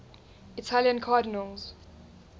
italian cardinals